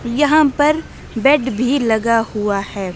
यहां पर बेड भी लगा हुआ है।